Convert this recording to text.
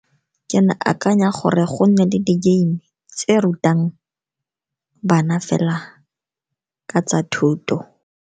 Ke ne ke akanya gore go nne le di-game-e tse rutang bana fela ka tsa thuto.